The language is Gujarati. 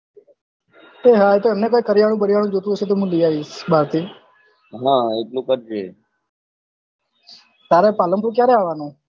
એહા એ તો એમને કઈ કરયાનું જોતું હશે તો મુ લઈ બાર થી હા એટલું કરજે તારે Palanpur કયારે આવાનું